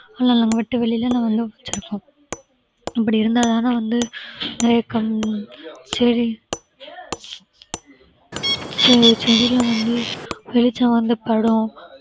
ஆனா நாங்க வெட்ட வெளியில நாங்க வந்து வெச்சிருக்கோம் அப்படி இருந்தா தானே வந்து நிறைய கண் செடி சில செடியில வந்து வெளிச்சம் வந்து படும்